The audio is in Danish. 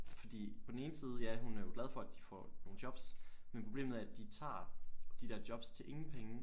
Fordi på den ene side ja hun er jo glad for at de får nogle jobs men problemet er at de tager de der jobs til ingen penge